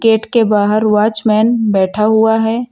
Gate के बाहर watchman बैठा हुआ है।